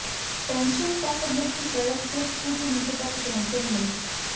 pension ਤੱਕ ਮੁੱਖ ਸੜਕ ਸਿਰਫ ਕੁਝ ਮਿੰਟ ਤੱਕ ਪਹੁੰਚਣ ਲਈ